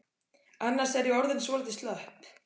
Annars er ég orðin svolítið slöpp.